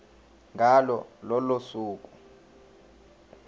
ngalo lolo suku